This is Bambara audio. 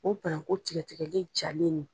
O bananku tigɛtigɛle jalen nin